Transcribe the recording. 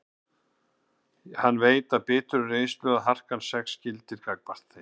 Hann veit af biturri reynslu að það er harkan sex sem gildir gagnvart þeim.